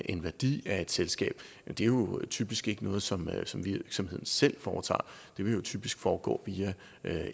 en værdi af et selskab er jo typisk ikke noget som virksomheden selv foretager det vil jo typisk foregå via